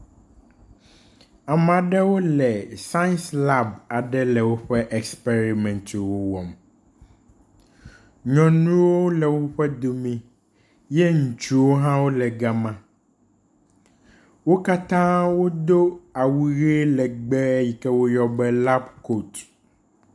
Ameaɖewo le science lab aɖe le wóƒe esperimɛntwo wɔm nyɔnuwo le wóƒe domi ye ŋutsuwo hã wóle gama , wokatã wodó awu ɣie legbe yike woyɔa be kab kot